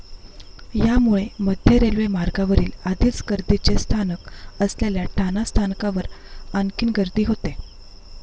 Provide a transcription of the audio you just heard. यामुळे मध्य रेल्वे मार्गावरील आधीच गर्दीचे स्थानक असलेल्या ठाणा स्थानकावर आणखीन गर्दी होते.